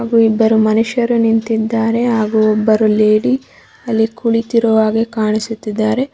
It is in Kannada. ಹಾಗು ಇಬ್ಬರು ಮನುಷ್ಯರು ನಿಂತಿದಾರೆ ಹಾಗು ಒಬ್ಬರು ಲೇಡಿ ಅಲ್ಲಿ ಕುಳಿತಿರುವ ಹಾಗೆ ಕಾಣಿಸುತ್ತಿದ್ದಾರೆ.